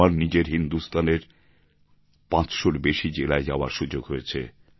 আমার নিজের হিন্দুস্থানের পাঁচশোর বেশি জেলায় যাওয়ার সুযোগ হয়েছে